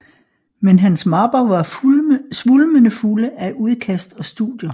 Men hans mapper var svulmende fulde af udkast og studier